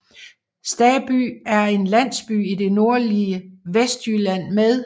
Staby er en landsby i det nordlige Vestjylland med